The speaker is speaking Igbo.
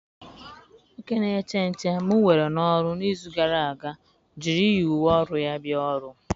Nwoke na-eche nche m were n'ọrụ n'izu gara aga jụrụ iyi uwe ọrụ ya bịa ọrụ.